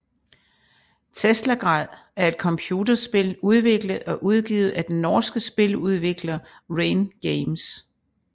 Teslagrad er et computerspil udviklet og udgivet af den norske spiludvikler Rain Games